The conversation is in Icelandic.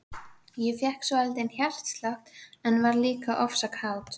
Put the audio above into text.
Ég fékk svolítinn hjartslátt, en varð líka ofsa kát.